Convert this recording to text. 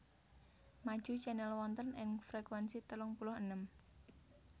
Maju Channel wonten ing frekuensi telung puluh enem